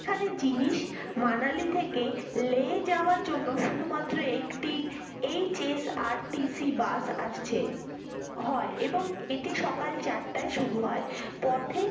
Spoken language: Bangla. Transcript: এখানে জিনিস লে যাওয়ার জন্য শুধুমাত্র একটি HSRTCbus আসছে। হ্যাঁ এবং এটি সকাল চারটে শুরু হয় পথে